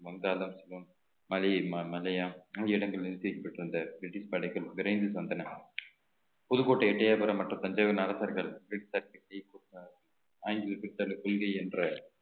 ஆகிய இடங்களில் பெற்று இருந்த பிரிட்டிஷ் படைகள் விரைந்து சென்றன புதுக்கோட்டை எட்டையாபுரம் மற்றும் தஞ்சையின் அரசர்கள் கொள்கை என்ற